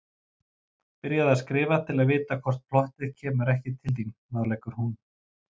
Byrjaðu að skrifa til að vita hvort plottið kemur ekki til þín, ráðleggur hún.